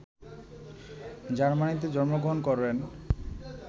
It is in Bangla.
জার্মানীতে জন্মগ্রহণ করেন